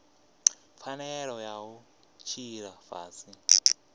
pfanelo ya u tshila fhasi